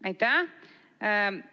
Aitäh!